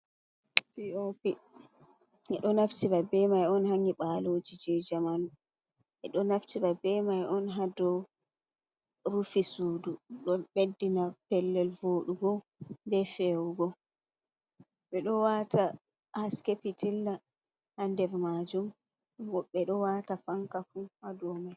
P.O.P beɗo nafti be mai on ha ngibaloji je jamanu. Be do nafti be mai on ha do rufi soodu. Ɗo beddina pellel vodugo be fewugo be do wata ha haske pitilla ha nder majum. vobbe do wata fankafu ha dolau mai.